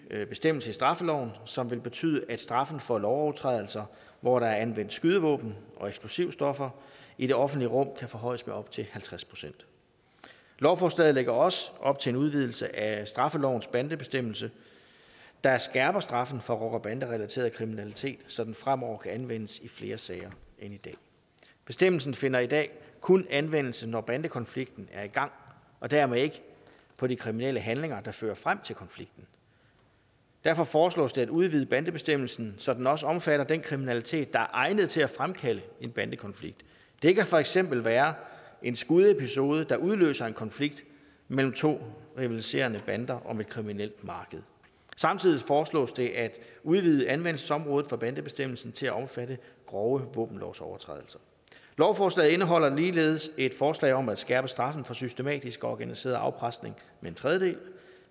bestemmelse i straffeloven som vil betyde at straffen for lovovertrædelser hvor der er anvendt skydevåben og eksplosivstoffer i det offentlige rum kan forhøjes med op til halvtreds procent lovforslaget lægger også op til en udvidelse af straffelovens bandebestemmelse der skærper straffen for rocker bande relateret kriminalitet så den fremover kan anvendes i flere sager end i dag bestemmelsen finder i dag kun anvendelse når bandekonflikten er i gang og dermed ikke på de kriminelle handlinger der fører frem til konflikten derfor foreslås det at udvide bandebestemmelsen så den også omfatter den kriminalitet der er egnet til at fremkalde en bandekonflikt det kan for eksempel være en skudepisode der udløser en konflikt mellem to rivaliserende bander om et kriminelt marked samtidig foreslås det at udvide anvendelsesområdet for bandebestemmelsen til at omfatte grove våbenlovsovertrædelser lovforslaget indeholder ligeledes et forslag om at skærpe straffen for systematisk og organiseret afpresning med en tredjedel